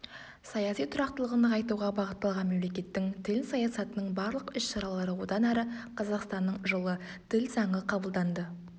саяси тұрақтылығын нығайтуға бағытталған мемлекеттің тіл саясатының барлық іс-шаралары одан әрі қазақстанның жылы тіл заңы қабылданды